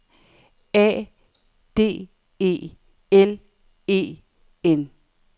A D E L E N